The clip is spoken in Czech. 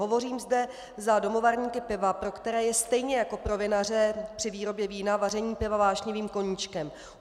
Hovořím zde za domovarníky piva, pro které je stejně jako pro vinaře při výrobě vína vaření piva vášnivým koníčkem.